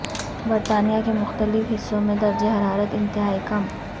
برطانیہ کے مختلف حصوں میں درجہ حرارت انتہائی کم